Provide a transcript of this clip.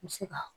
N bɛ se ka